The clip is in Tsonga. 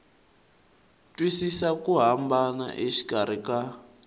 twisisa ku hambana exikarhi ka